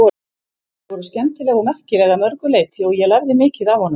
Þau voru skemmtileg og merkileg að mörgu leyti og ég lærði mikið af honum.